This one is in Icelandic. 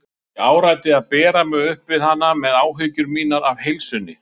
Ég áræddi að bera mig upp við hana með áhyggjur mínar af heilsunni.